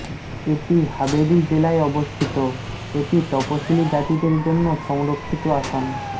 এটি হাবেরী জেলায় অবস্থিত এটি তপসিলী জাতিদের জন্য সংরক্ষিত আসন